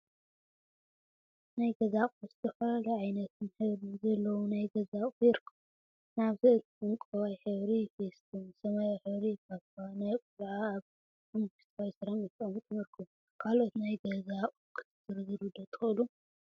ናይ ገዛ አቁሑ ዝተፈላለዩ ዓይነትን ሕብሪን ዘለዎም ናይ ገዛ አቁሑ ይርከቡ፡፡ ንአብነት ዕንቋይ ሕብሪ ፊስቶን ሰማያዊ ሕብሪ ፓፓ ናይ ቆልዓን አብ ሓመኩሽታይ ሰራሚክ ተቀሚጦም ይርከቡ፡፡ ካለኦት ናይ ገዛ አቁሑ ክትዝርዝሩ ዶ ትክእሉ?